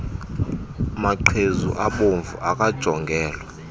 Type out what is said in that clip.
maqhezu abomvu akajongelwa